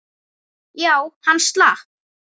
Já, hann slapp.